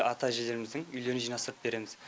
ата әжелеріміздің үйлерін жинастырып береміз